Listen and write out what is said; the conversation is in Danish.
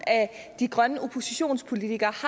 af de grønne oppositionspolitikere